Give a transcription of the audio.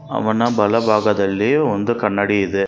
ಅವನ ಬಲಭಾಗದಲ್ಲಿ ಒಂದು ಕನ್ನಡಿ ಇದೆ.